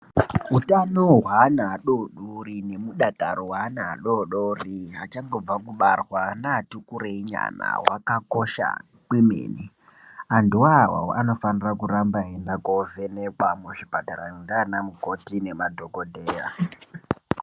Utano hweana adodori nemudakaro weana adodori achangobva kubarwa neati kurei nyana hwakakosha kwemene .Ana aya anofana kuvhenekwa muzvipatara ndiana mukoti nemadhokoteya